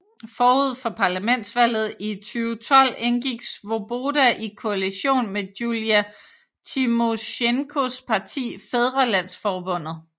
Forud for parlamentsvalget i 2012 indgik Svoboda i koalition med Julia Timosjenkos parti Fædrelandsforbundet